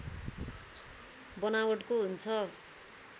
बनावटको हुन्छ